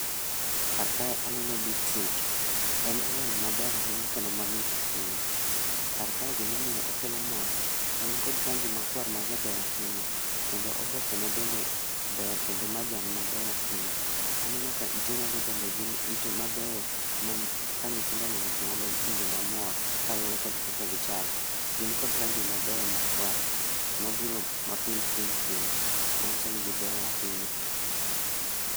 karkae aneno beet root, en olemo maber ahinya kendo mamit ahinya, karkae gimomiyo okelo mor, en kod rangi makwar ma jaber ahinya kendo oboke ne bende ber kendo majan maber ahinya, aneno ka itenego bende gin ite mabeyo ma ka nyithindo oneno to ginyalo winjo mamor kaluore kod kaka gichalo, gin kod rangi mabeyo makwar mabiro mapink pink bende manyiso ni gibeyo ahinya